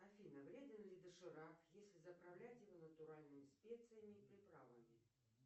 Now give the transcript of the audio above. афина вреден ли доширак если заправлять его натуральными специями и приправами